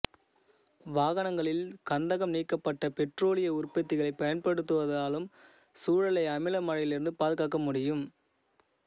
வாகனங்களில் கந்தகம் நீக்கப்பட்ட பெற்றோலிய உற்பத்திகளைப் பயன்படுத்துவதாலும் சூழலை அமில மழையிலிருந்து பாதுகாக்க முடியும்